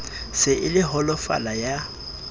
se e le holofala ya